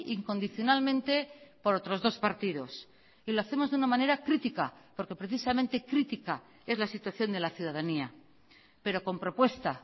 incondicionalmente por otros dos partidos y lo hacemos de una manera crítica porque precisamente crítica es la situación de la ciudadanía pero con propuesta